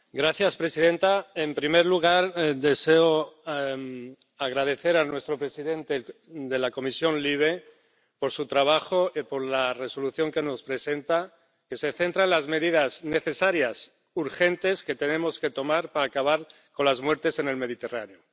Señora presidenta, en primer lugar, deseo agradecer a nuestro presidente de la Comisión LIBE su trabajo y la propuesta de Resolución que nos presenta, que se centra en las medidas necesarias urgentes que tenemos que tomar para acabar con las muertes en el Mediterráneo.